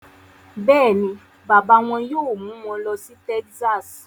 Bẹ́ẹ̀ ni, bàbá wọn yóò mú wọn lọ sí Texas